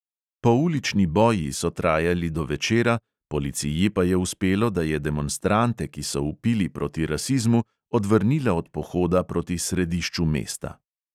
Poulični boji so trajali do večera, policiji pa je uspelo, da je demonstrante, ki so vpili proti rasizmu, odvrnila od pohoda proti središču mesta.